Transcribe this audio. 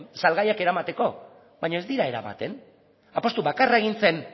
salgaiak eramateko baina ez dira eramaten apustu bakarra egin zen